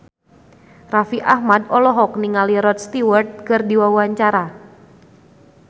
Raffi Ahmad olohok ningali Rod Stewart keur diwawancara